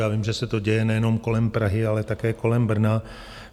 Já vím, že se to děje nejenom kolem Prahy, ale také kolem Brna.